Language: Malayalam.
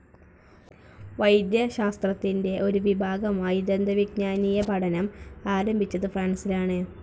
വൈദ്യശാസ്ത്രത്തിന്റെ ഒരു വിഭാഗമായി ദന്തവിജ്ഞാനീയ പഠനം ആരംഭിച്ചത് ഫ്രാൻസിലാണ്.